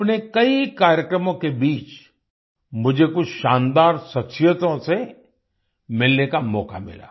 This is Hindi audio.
अपने कई कार्यक्रमों के बीच मुझे कुछ शानदार शख्सियतों से मिलने का मौका मिला